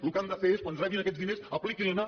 el que han de fer és quan rebin aquests diners apliquin los